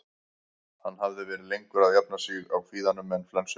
Hann hafði verið lengur að jafna sig á kvíðanum en flensunni.